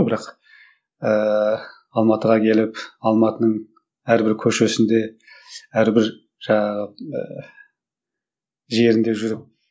бірақ ыыы алматыға келіп алматының әрбір көшесінде әрбір жаңағы ы жерінде жүріп